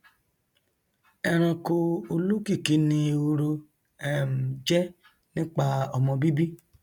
ẹranko olókìkí ni ehoro um jẹ nípa ọmọ bíbí